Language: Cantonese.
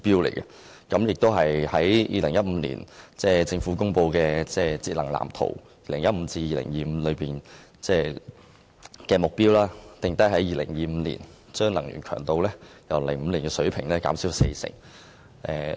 此外，政府在2015年公布《香港都市節能藍圖 2015～2025＋》，目標是要在2025年把能源強度由2005年的水平減少四成。